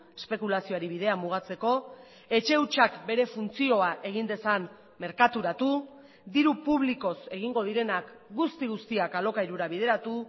espekulazioari bidea mugatzeko etxe hutsak bere funtzioa egin dezan merkaturatu diru publikoz egingo direnak guzti guztiak alokairura bideratu